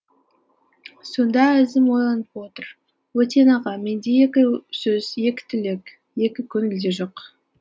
сонда әзім ойланып отыр өтен аға менде екі сөз екі тілек екі көңіл де жоқ